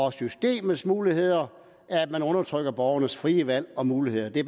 er systemets muligheder at man undertrykker borgernes frie valg og muligheder det